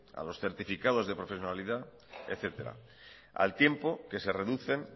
a los certificados de profesionalidad etcétera al tiempo que se reducen